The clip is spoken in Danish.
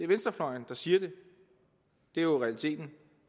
venstrefløjen der siger det det er jo realiteten